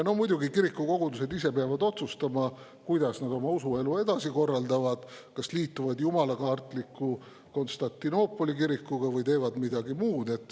No muidugi, kirikukogudused ise peavad otsustama, kuidas nad oma usuelu edasi korraldavad, kas liituvad jumalakartliku Konstantinoopoli kirikuga või teevad midagi muud.